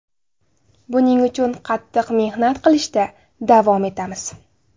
Buning uchun qattiq mehnat qilishda davom etamiz.